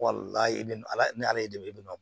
i bɛ ala ni ala ye de i bɛ na